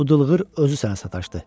Bu dılığır özü sənə sataşdı.